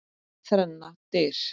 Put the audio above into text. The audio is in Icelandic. Þrennar dyr.